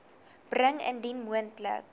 bring indien moontlik